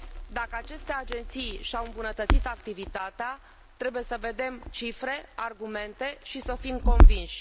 Dacă aceste agenții și au îmbunătățit activitatea, trebuie să vedem cifre, argumente și să fim convinși.